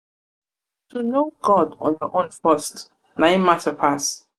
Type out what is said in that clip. to know god on your own first na im mata pass.